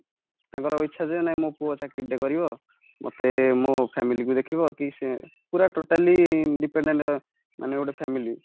ତାଙ୍କର ଇଚ୍ଛାଯେ ମୋ ପୁଅ ଚାକିରି ଟେ କରିବ ମତେ ମୋ ମୋ family କୁ ଦେଖିବ କି ସେ ପୁରା totally dependent ମାନେ ଗୋଟେ family